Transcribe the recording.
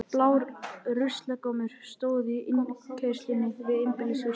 Blár ruslagámur stóð í innkeyrslunni við einbýlishús